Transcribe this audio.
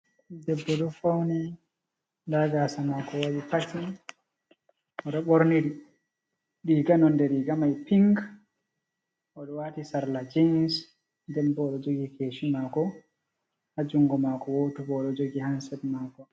Debbo ɗo fauni nda gasa mako waɗi packing. Oɗo ɓorni riga, nonde riga mai ping odo wati sarla jeans. Nden bo, oɗo jogi kesi mako. Ha jungo mako woto bo oɗo jogi handset mako.